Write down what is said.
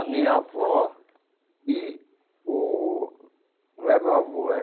A minha avó e o... Não é meu avô, é...